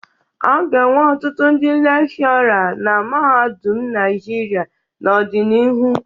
A ga-enwe ọtụtụ ndị lekshọrra na mahadum Naịjirịa n'ọdịnihu.